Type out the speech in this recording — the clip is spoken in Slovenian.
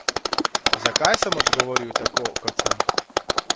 Zakaj sem odgovoril tako, kot sem?